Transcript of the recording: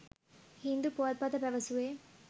හින්දු පුවත්පත පැවසුවේ